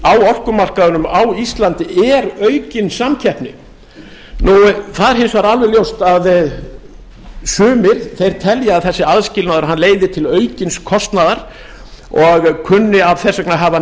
á orkumarkaðnum á íslandi er aukin samkeppni það er hins vegar alveg ljóst að sumir telja að þessi aðskilnaður leiði til aukins kostnaðar og kunni þess vegna að hafa